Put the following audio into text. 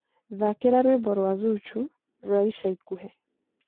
thakĩra rwĩmbo rwa zuchu rwa ĩca ĩkũhĩ